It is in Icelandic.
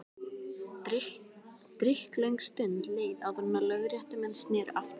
Drykklöng stund leið áður en lögréttumenn sneru aftur.